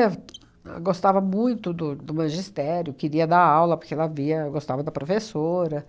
ahn gostava muito do do magistério, queria dar aula, porque ela via gostava da professora,